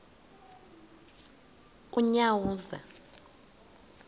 unyawuza